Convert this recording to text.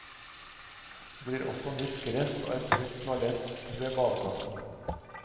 Det blir også nytt gress og et nytt toalett ved badeplassen.